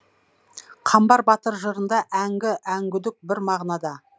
қамбар батыр жырында әңгі әңгүдік бір мағынада